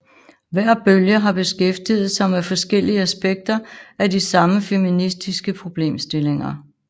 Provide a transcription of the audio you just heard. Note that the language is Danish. Hver bølge har beskæftiget sig med forskellige aspekter af de samme feministiske problemstilling